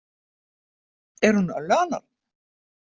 Er hún örlaganorn?